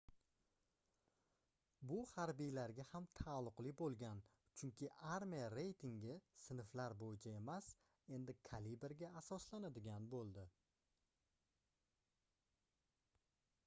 bu harbiylarga ham taalluqli boʻlgan chunki armiya reytingi sinflar boʻyicha emas endi kaliberga asoslanadigan boʻldi